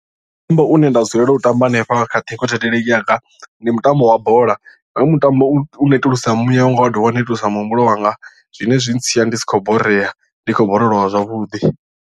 Mutambo une nda dzulela u tamba hanefha kha ṱhingothendeleki yanga ndi mutambo wa bola hoyu mutambo u netulusa muyawanga wa dovha wa netulusa muhumbulo wanga zwine zwi ntsia ndi si khou borea ndi khou borolowa zwavhuḓi.